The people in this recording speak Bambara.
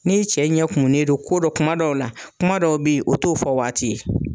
N'i cɛ ɲɛ kumunen don ko dɔ kuma dɔw la kuma dɔw bɛ yen o t'o fɔ waati ye.